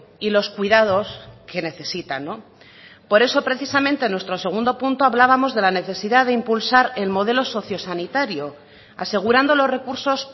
y los cuidados que necesitan por eso precisamente en nuestro segundo punto hablábamos de la necesidad de impulsar el modelo socio sanitario asegurando los recursos